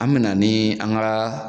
An mena ni an gaa